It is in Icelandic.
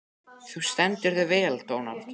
Þú stendur þig vel, Dónald!